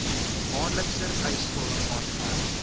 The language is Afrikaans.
maandelikse eisvorm aangeheg